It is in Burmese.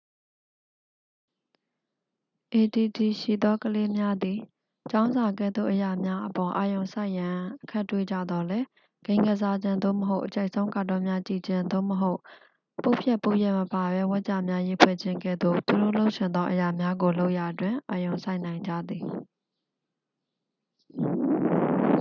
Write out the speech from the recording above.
အေဒီဒီရှိသော ကလေးများသည် ကျောင်းစာကဲ့သို့ အရာများအပေါ် အာရုံစိုက်ရန် အခက်တွေ့ကြသော်လည်း ဂိမ်းကစားခြင်း သို့မဟုတ် အကြိုက်ဆုံး ကာတွန်းများ ကြည့်ခြင်း သို့မဟုတ် ပုဒ်ဖြတ်ပုဒ်ရပ်မပါဘဲ ဝါကျများ ရေးဖွဲ့ခြင်း ကဲ့သို့ သူတို့လုပ်ချင်သော အရာများကိုလုပ်ရာတွင် အာရုံစိုက်နိုင်ကြသည်